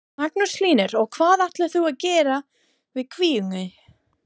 Magnús Hlynur: Og hvað ætlar þú að gera við kvíguna?